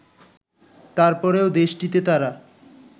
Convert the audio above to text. তারপরেও দেশটিতে তারা